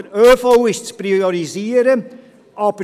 Der ÖV ist zu priorisieren.